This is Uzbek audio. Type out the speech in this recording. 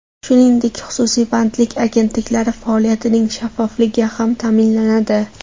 Shuningdek, xususiy bandlik agentliklari faoliyatining shaffofligi ham ta’minlanadi.